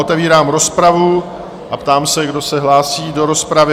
Otevírám rozpravu a ptám se, kdo se hlásí do rozpravy?